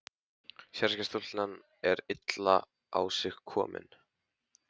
Sérðu ekki að stúlkan er illa á sig komin.